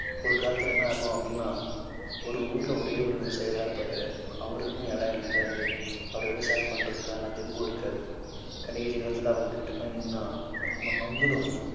ஒரு காலத்துல என்ன ஆகும் அப்பிடின்னா ஒரு ஊர்ல ஒரே ஒரு விவசாயிதான் இருப்பாரு. அவருக்கும் இடம் இருக்காது. அவர் விவசாயம் பண்றதுக்கான தெம்பும் இருக்காது. கடைசி காலத்துல அவங்ககிட்ட போய் நின்னா அவங்க நொந்துடுவாங்க.